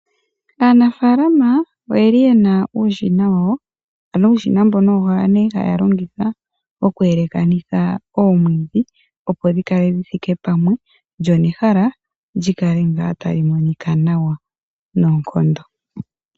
Aanafalama oyeli yena uushina wawo, ano uushina mbono owo nee haa ya longitha oku elekanitha oomwiidhi, opo dhi kale dhi thike pamwe lyo nehala lyikale ngaa tali monika nawa noonkondo.